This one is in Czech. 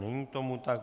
Není tomu tak.